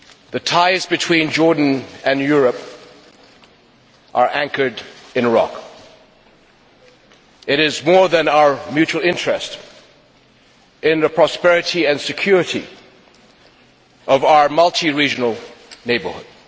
The ties between Jordan and Europe are anchored in rock. It is more than our mutual interest in the prosperity and security of our multi regional neighbourhood.